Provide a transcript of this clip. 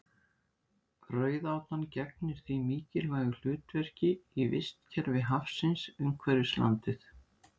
Rauðátan gegnir því mikilvægu hlutverki í vistkerfi hafsins umhverfis landið.